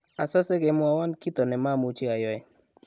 asase kemwowon kito ne mamuchi ayoe